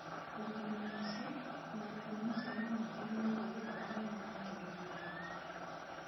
Ũrutani-inĩ ũcio, morutani macio ma mũthia megiĩ gĩthomo nĩmo maakenagio mũno.